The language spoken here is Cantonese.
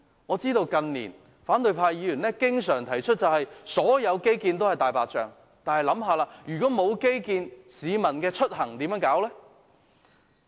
我知道，近年反對派議員經常指所有基建均是"大白象"，但大家試想想，沒有基建，市民出入又靠甚麼？